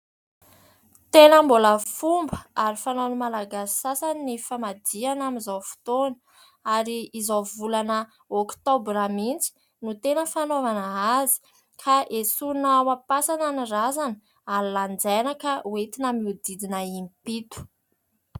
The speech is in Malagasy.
Tena mbola fomba ary fanaon'ny Malagasy sasany ny famadihana amin'izao fotoana ary amin'izao volana oktobra mihitsy no tena fanaovana azy ka esorina ao am-pasana ny razana ary lanjaina ka ho entina mihodidina impito.